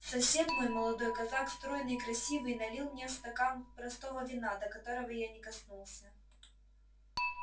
сосед мой молодой казак стройный и красивый налил мне стакан простого вина до которого я не коснулся